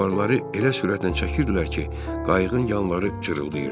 Avarları elə sürətlə çəkirdilər ki, qayığın yanları cırıldayırdı.